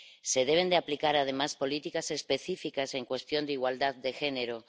Se deben aplicar, además, políticas específicas en cuestión de igualdad de género.